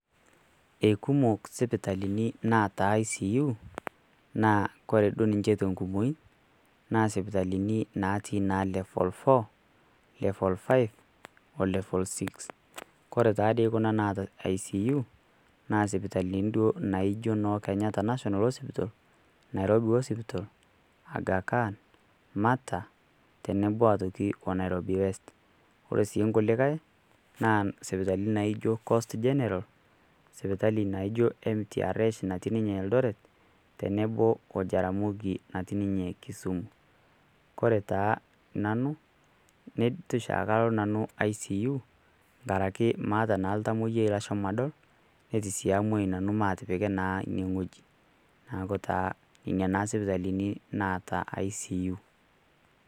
Ei kumok isipitalini naata ICU naa ore duo ninye te enkumoi naa isipitalini natii naa level four, level five,o level six. Ore taadei Kuna naata ICU, naa isipitalini naijo noo Kenyatta national hospital, Nairobi hospital, Agha Khan, Mater, tenebo o aitoki o Nairobi west. Ore sii inkulikai naa isipitalini naijo Coast General, sipitali naijo MTRH natii ninye Eldoret, tenebo o Jaramogi natii ninye Kisumu, ore taa nanu, neitu oshiake alo nanu ICU enkaraki maata naa oltamwoyia lashomo naa adol, neitu sii amuoyu nanu omatipiki naa inewueji, neaku naa nena taa isipitalini naata ICU.